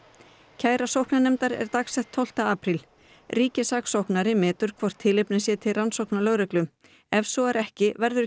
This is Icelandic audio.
kæra sóknarnefndar er dagsett tólfta apríl ríkissaksóknari metur hvort tilefni sé til rannsóknar lögreglu ef svo er ekki verður